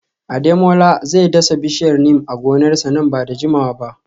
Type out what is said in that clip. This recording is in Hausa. Ademola zai dasa bishiyar Neem a gonarsa nan ba da jimawa ba